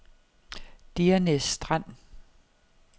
Diernæs Strand